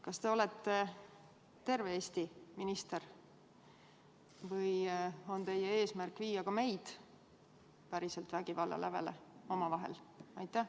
Kas te olete terve Eesti minister või on teie eesmärk viia ka meid omavahel päriselt vägivalla lävele?